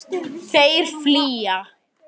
Þeir flýja.